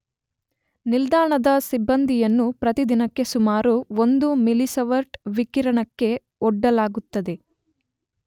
ನಿಲ್ದಾಣದ ಸಿಬ್ಬಂದಿಯನ್ನು ಪ್ರತಿದಿನಕ್ಕೆ ಸುಮಾರು 1 ಮಿಲಿಸಿವರ್ಟ್ ವಿಕಿರಣಕ್ಕೆ ಒಡ್ಡಲಾಗುತ್ತದೆ.